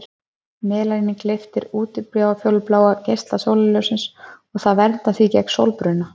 Melanín gleypir útfjólubláa geisla sólarljóssins og það verndar því gegn sólbruna.